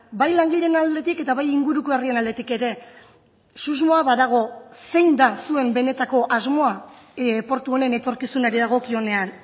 bai langileen aldetik eta bai inguruko herrien aldetik ere susmoa badago zein da zuen benetako asmoa portu honen etorkizunari dagokionean